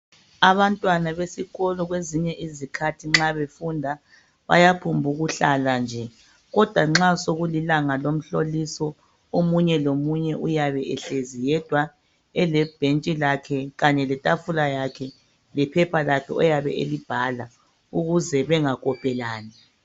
Abantwana besikolo kwezinye izikhathi nxa befunda bayaphombukuhlala nje kodwa nxa sokulilanga lomhloliso omunye lomunye uyabe ehlezi yedwa kunye lebhentshi lakhe kanye letafula yakhe lephepha oyabe elibhala ukuze bengakopelani.